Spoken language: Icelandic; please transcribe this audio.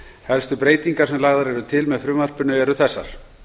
helstu breytingar sem lagðar eru til með frumvarpinu eru þessar